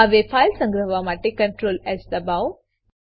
હવે ફાઈલ સંગ્રહવા માટે Ctrls દબાવો